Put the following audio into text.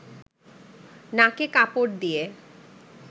নাকে কাপড় দিয়ে